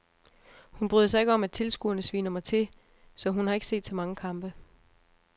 Hun bryder sig ikke om at tilskuerne sviner mig til, så hun har ikke set så mange kampe.